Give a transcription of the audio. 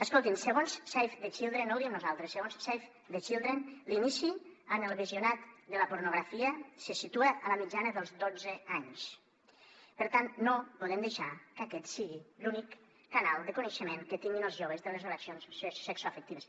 escoltin segons save the children no ho diem nosaltres l’inici en el visionat de la pornografia se situa a la mitjana dels dotze anys per tant no podem deixar que aquest sigui l’únic canal de coneixement que tinguin els joves de les relacions sexoafectives